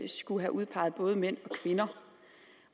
skulle have udpeget både mænd